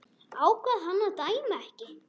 Ákvað hann að dæma ekki?